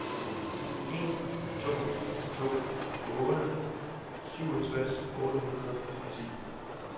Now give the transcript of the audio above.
en to to otte syvogtres otte hundrede og ti